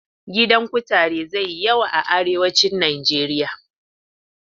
Gidan kutare zai yi yawa a arewacin Nijeriya.